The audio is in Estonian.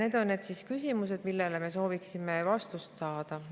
Need on need küsimused, millele me sooviksime vastuseid saada.